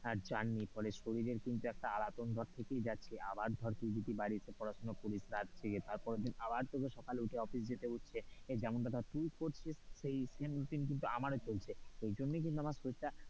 Journey ফলে শরীরের কিন্তু একটা আলাতন ভাব থেকেই যাচ্ছে, আবার ধর তুই যদি বাড়িতে পড়াশোনা করিস রাত জেগে, তার পরের দিন আবার তোকে সকালে উঠে অফিস যেতে হচ্ছে, যেমনটা ধর তুই করছিস সেই same কিন্তু আমারও চলছে, সেই জন্য কিন্তু আমার শরীরটা,